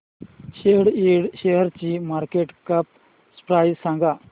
सॅट Ind शेअरची market cap price सांगा